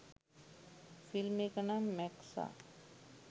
Film එක නම් මැක්සා.